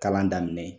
Kalan daminɛ